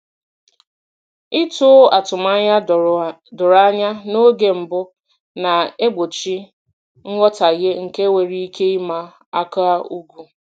Ịtọ atụmanya doro anya n’oge mbụ na-egbochi nghọtahie nke nwere ike ịma aka ugwu.